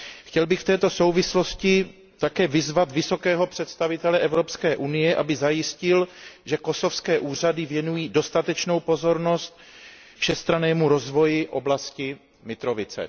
Chtěl bych v této souvislosti také vyzvat vysokého představitele Evropské unie, aby zajistil, že kosovské úřady věnují dostatečnou pozornost všestrannému rozvoji oblasti Mitrovice.